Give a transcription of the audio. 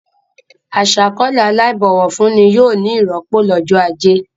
Aṣàkọ̀ọ́lẹ̀ aláìbọ̀wọ̀ fún ni yóò ní ìrọ́pò lọ́jọ́ ajé.